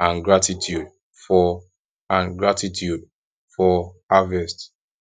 and gratitude for and gratitude for harvest